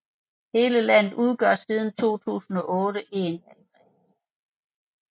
Hele landet udgør siden 2008 én valgkreds